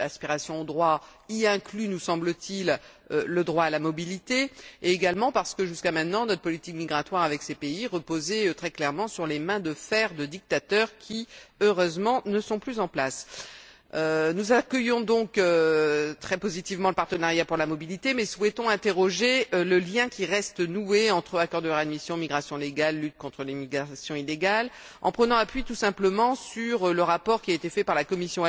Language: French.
aspirations aux droits, y inclus, nous semble t il, le droit à la mobilité, et également parce que jusque maintenant, notre politique migratoire avec ces pays reposait très clairement sur les mains de fer de dictateurs qui, heureusement, ne sont plus en place. Nous accueillons donc très positivement le partenariat pour la mobilité mais souhaitons mettre en question le lien qui reste noué entre les accords de réadmission, les migrations légales et la lutte contre l'immigration illégale, en prenant appui tout simplement sur le rapport qui a été élaboré par la Commission elle même